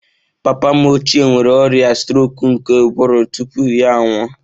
Papa m ochie nwere ọrịa strok nke ụbụrụ tupu ya anwụọ